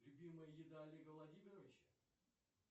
любимая еда олега владимировича